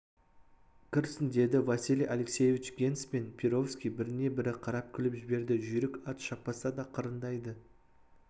кірсін деді василий алексеевич генс пен перовский біріне-бірі қарап күліп жіберді жүйрік ат шаппаса да қырындайды